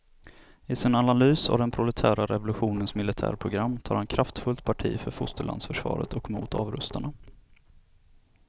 I sin analys av den proletära revolutionens militärprogram tar han kraftfullt parti för fosterlandsförsvaret och mot avrustarna.